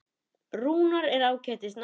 Rúnar er ágætis náungi.